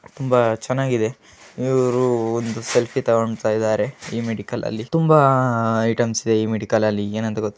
ತುಂಬಾ ಚೆನ್ನಾಗಿದೆ ಇವ್ರು ಒಂದು ಸೆಲ್ಫಿ ತಗೋಂತಾ ಇದಾರೆ. ಈ ಮೆಡಿಕಲ್ ಅಲ್ಲಿ ತುಂಬಾ ಐಟೆಮ್ಸ ಇದೆ ಈ ಮೆಡಿಕಲ್ ಅಲ್ಲಿ ಏನ್ ಅಂತ ಗೊ--